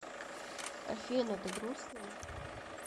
афина ты грустная